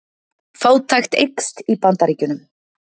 Fátækt eykst í Bandaríkjunum